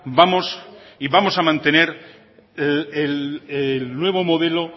vamos a mantener el nuevo modelo